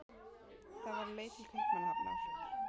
Það var á leið til Kaupmannahafnar.